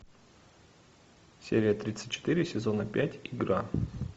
серия тридцать четыре сезона пять игра